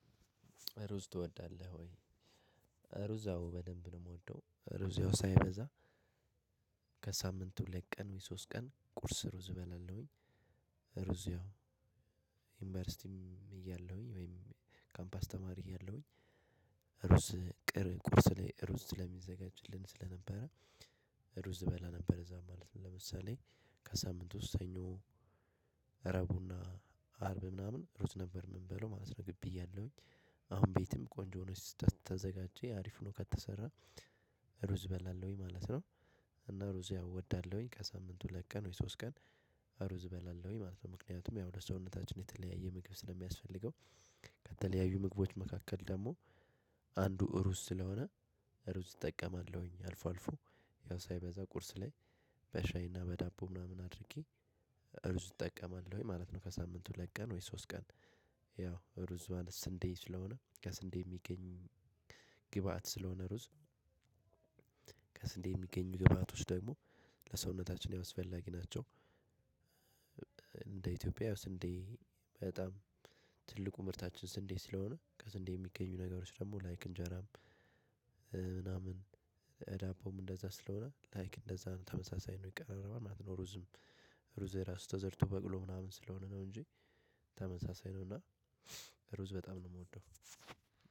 ሩዝ ትወዳለህ ወይ? ሩዛው በደንብ ነው የምወደው ሩዛው ሳይበዛ ከሳምንቱ ሁለትቀን ወይ ሶስት ቀን ቁርስ ሩዝ እበላለሁኝ። ሩዝ ያው ዩኒቨርሲቲም እያለሁኝ ወይም ካምፓስ ተማሪ እያለሁኝ ሩዝ ቁርስ ላይ ሩዝ ስለሚዘጋጅልን ስለነበረ። ሩዝ እበላ ነበረ እዚያም ማለት ነው። ለምሳሌ ከሳምት ውስጥ ሰኞ እሮቡ እና አርብ ምናምን ሩዝ ነበር የምንበላው ግቢ እያለሁ። አሁን ቤትም ቆንጆ ሆኖ ከተዘጋጀ አሪፍ ነው ከተሰራ። ሩዝ እበላለሁኝ ማለት ነው። እና ሩዝ ያው እወዳለሁኝ ከሳምንት ሁለት ቀን ወይ ሶስት ቀን ሩዝ እበላለሁኝ ማለት ነው። ምክንያቱም ያው ለሰውነታችን የተለያየ ምግብ ስለሚያስፈልገው። ከተለያዩ ምግቦች መካከል ደግሞ አንዱ ሩዝ ስለሆነ። ሩዝ እጠቀማለሁኝ አልፎ አልፎ ያው ሳይበዛ ቁርስ ላይ በሻይና በዳቦ ምናምን አድርጌ ሩዝ እጠቀማለሁኝ ማለት ነው። ከሳምንት ሁለቀን ወይ ሶስት ቀን። ያው እሩዝ ማለት ስንዴ ስለሆነ ከስንዴ የሚገኝ ግብአት ስለሆነ ሩዝ ከስንዴ የሚገኙ ግብአቶች ደግሞ ለሰውነታችን አስፈላጊ ናቸው። እንደ ኢትዮጵያ ያው እንዴ በጣም ትልቁ ምርታችን ስንዴ ስለሆነ ከስንዴ የሚገኙ ነገሮች ደግሞ ላይክ እንጀራም ምናምን ዳቦም እንደዛ ስለሆነ ላይክ እንደዛ ነው ተመሳሳይ ነው የሚቀረበው ምናምን። ሩዝም ሩዝ እራሱ ተዘርቶ በቅሎ ምናምን ስለሆነ ነው። እንጂ ተመሳሳይ ነው እና ሩዝ በጣም ነው የምወደው።